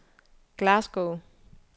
Glasgow